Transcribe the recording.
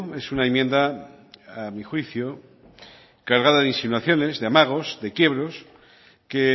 es una enmienda a mi juicio cargada de insinuaciones de amagos de quiebros que